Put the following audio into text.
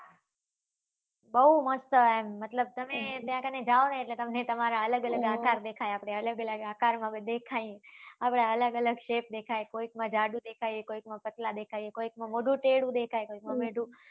બઉ મસ્ત હોય એમ મતલબ તમે ત્યાં કને તમને તમારા અલગ અલગ આકાર દેખાય આપડે અલગ અલગ આકાર માં દેખાય આપડા અલગ અલગ shape દેખાય કોઈક માં જાડું કોઈક માં પાતળા દેખાઈએ કોઈકમાં મોઢું તેડું દેખાય કોઈક માં મોઢું